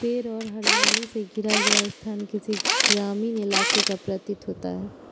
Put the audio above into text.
पेड़ और हरियाली से घिरा यह स्थान किसी ग्रामीण इलाके का प्रतीत होता है।